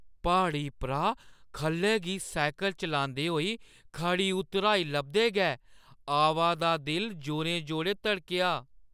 प्हाड़ी परा ख'ल्लै गी सैह्कल चलांदे होई खड़ी उतराई लभदे गै अवा दा दिल जोरें-जोरें धड़केआ।